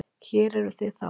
Hér eruð þið þá!